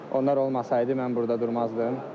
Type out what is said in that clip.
Onlar olmasaydı mən burda durmazdım.